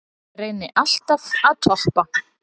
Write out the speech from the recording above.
Reyni alltaf að toppa